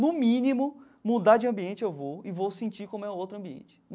No mínimo, mudar de ambiente eu vou e vou sentir como é o outro ambiente.